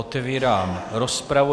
Otevírám rozpravu.